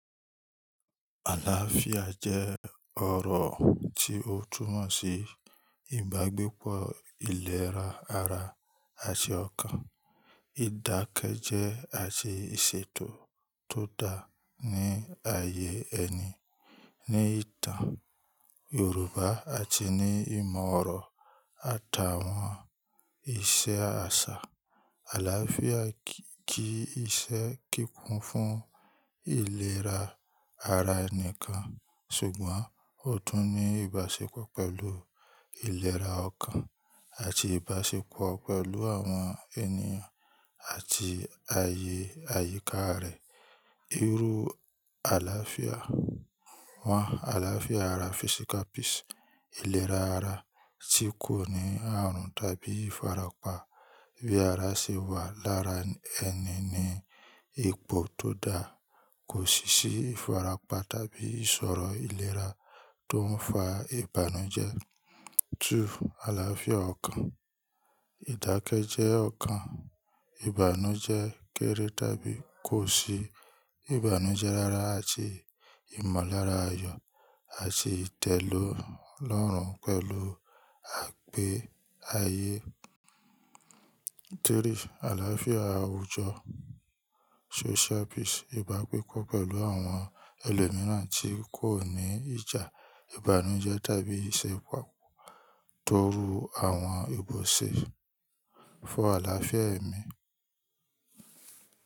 Àlàáfíà jẹ́ ọ̀rọ̀ tí ó túmọ̀ sí ìbágbépọ̀ ìlera ara àti ọkàn, ìdákẹ́jẹ́ àti ìṣètò tó dáa ní ààyè ẹni. Ni ìtàn Yorùbá àti ní ìmọ̀ ọ̀rọ̀ àtàwọn iṣẹ́ àṣà, àlàáfíà ki iṣẹ́ kíkún fún ìlera ara ẹnìkan ṣùgbọ́n ó tún ní ìbáṣepọ̀ pẹ̀lú ìlera ọkàn àti ìbáṣepọ̀ pẹ̀lú àwọn ènìyàn àti ààyè àyíká rẹ̀. Irú àlàáfíà mọ̀: àlàáfíà ara: ìlera ara tí kò ní ààrùn tàbí ìfarapa. Bí ara ṣe wà lára ẹni ní ipò tó dáa, kò sì sí ìfarapa tàbí ìṣọ̀rọ̀ ìlera tó ń fa ìbànújẹ́. 2. Àlàáfíà ọkàn: ìdákẹ́jẹ́ ọkàn, ìbànújẹ́ kéré tàbí kò sí, ìbànújẹ́ rara àti ìmọ̀lára ayọ̀ àti ìtẹ̀lọ́ lọ́rùn pẹ̀lú àgbé ayé. 3. Àlàáfíà àwùjọ: ìbágbépọ̀ pẹ̀lú àwọn ẹlòmíràn tí kò ní ìjà, ìbànújẹ́ tàbí ìṣekúpàá torú àwọn ibò ṣe fọ̀ àlàáfíà ẹ̀mí.